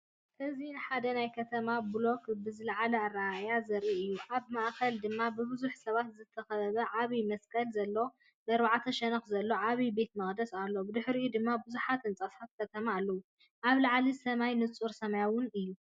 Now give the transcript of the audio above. እዚ ንሓደ ናይ ከተማ ብሎክ ብዝለዓለ ኣረኣእያ ዘርኢ እዩ። ኣብ ማእከል ድማ ብብዙሓት ሰባት ዝተኸበበ ዓቢ መስቀል ዘለዎ ብኣርባዕተ ሸነኽ ዘለዎ ዓቢ ቤተ መቕደስ ኣሎ። ብድሕሪኡ ድማ ብዙሓት ህንጻታት ከተማ ኣለዉ። ኣብ ላዕሊ፡ሰማይ ንጹርን ሰማያውን እዩ።